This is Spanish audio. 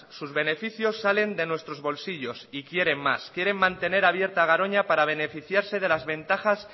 sus beneficios salen de nuestros bolsillos y quieren más quieren mantener abierta garoña para beneficiarse de las ventajas